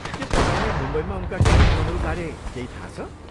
के तपाईँलाई मुम्बईमा उनका कार्यक्रमहरू बारे केही थाहा छ?